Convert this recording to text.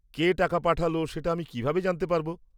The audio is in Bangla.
কে টাকা পাঠাল সেটা আমি কীভাবে জানতে পারব?